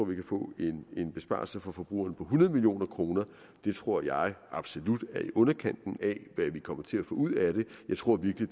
vi kan få en besparelse for forbrugerne på hundrede million kroner det tror jeg absolut er i underkanten af hvad vi kommer til at få ud af det jeg tror virkelig